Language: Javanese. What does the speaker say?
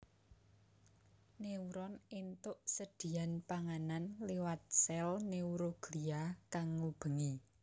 Neuron éntuk sedhiyan panganan liwat sèl neuroglia kang ngubengi